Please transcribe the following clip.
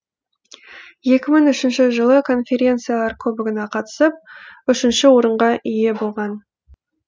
екі мың үшінші жылы конференциялар кубогына қатысып үшінші орынға ие болған